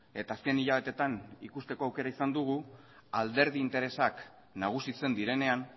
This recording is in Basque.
eta azken hilabeteetan ikusteko aukera izan dugu alderdi interesak nagusitzen direnean